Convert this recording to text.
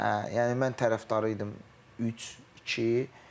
Yəni mən tərəfdarı idim üç, iki.